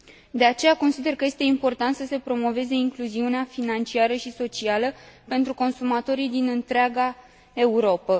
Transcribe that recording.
De aceea, consider că este important să se promoveze incluziunea financiară și socială pentru consumatorii din întreaga Europă.